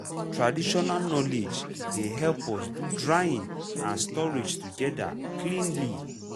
traditional knowledge dey help us do drying and storage together cleanly.